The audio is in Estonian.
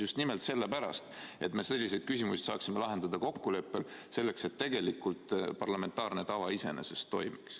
Just nimelt sellepärast, et me selliseid küsimusi saaksime lahendada kokkuleppel, selleks et tegelikult parlamentaarne tava iseenesest toimiks.